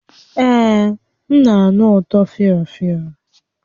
Ee, m na-anụ ụtọ fịọ fịọ